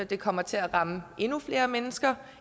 det kommer til at ramme endnu flere mennesker